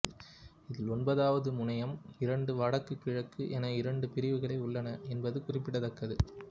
இதில் ஒன்பதாவது முனையம் இரண்டு வடக்கு கிழக்கு என இரண்டு பிரிவுகளாக உள்ளன என்பது குறிப்பிடத்தக்கது